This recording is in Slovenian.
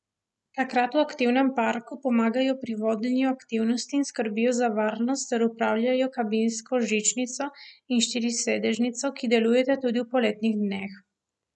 Takrat v aktivnem parku pomagajo pri vodenju aktivnosti in skrbijo za varnost ter upravljajo kabinsko žičnico in štirisedežnico, ki delujeta tudi v poletnih dneh.